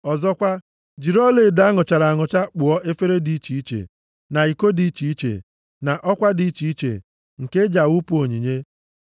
Ọzọkwa, jiri ọlaedo a nụchara anụcha kpụọ efere dị iche iche, na iko dị iche iche, na ọkwa dị iche iche, nke e ji awụpụ onyinye.